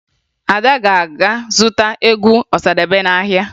Ada ga-aga zụta egwu Ọsadebe n'ahịa